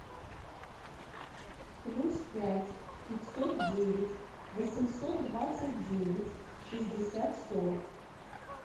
плюс пять пятьсот девять восемьсот двадцать девять шестьдесят сорок